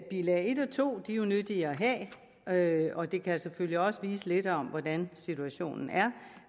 bilag en og to er jo nyttige at have og de kan selvfølgelig også vise lidt om hvordan situationen er